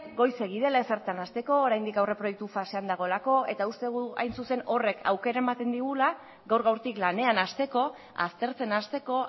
goizegi dela ezertan hasteko oraindik aurreproiektu fasean dagoelako eta uste dugu hain zuzen ere horrek aukera ematen digula gaur gaurtik lanean hasteko aztertzen hasteko